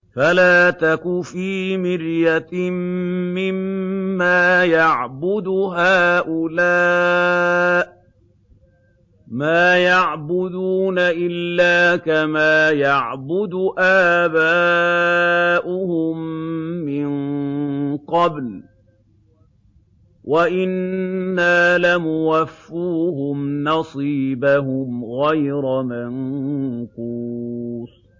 فَلَا تَكُ فِي مِرْيَةٍ مِّمَّا يَعْبُدُ هَٰؤُلَاءِ ۚ مَا يَعْبُدُونَ إِلَّا كَمَا يَعْبُدُ آبَاؤُهُم مِّن قَبْلُ ۚ وَإِنَّا لَمُوَفُّوهُمْ نَصِيبَهُمْ غَيْرَ مَنقُوصٍ